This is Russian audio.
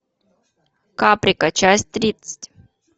каприка часть тридцать